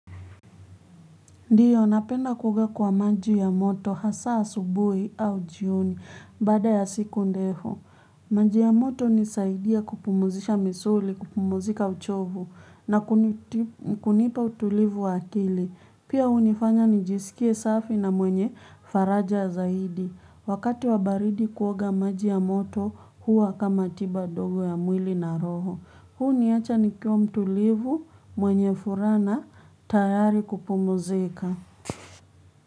Ndiyo, napenda kuoga kwa maji ya moto hasa asubuhi au jioni baada ya siku ndefu. Maji ya moto unisaidia kupumuzisha misuli, kupumuzika uchovu na kunipa utulivu wa akili. Pia unifanya nijisikie safi na mwenye faraja zaidi. Wakati wa baridi kuoga maji ya moto huwa kama tiba dogo ya mwili na roho. Huniacha nikiwa mtulivu mwenye furana tayari kupumzika.